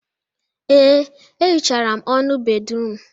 Ee, e hichara m ọnụ bédrụum.